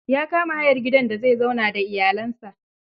ya kama hayar gidan da zai zauna da iyalinsa.